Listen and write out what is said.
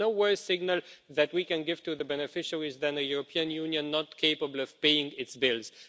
There is no worse signal that we can give to the beneficiaries than a European Union not capable of paying its bills.